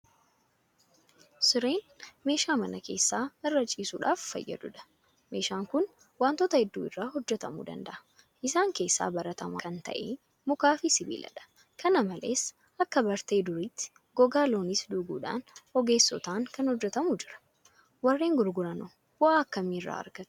Sireen meeshaa mana keessaa irra ciisuudhaaf fayyadudha. Meeshaan kun waantota hedduu irraa hojjetamuu danda'a. Isaan keessaa baratamaa kan ta'e Mukaafi Sibiiladha. Kana malees akka bartee duriitti gogaa Looniis duuguudhaan ogeessotaan kan hojjetamu jira. Warreen gurguranoo bu'aa akkamii irraa argatu?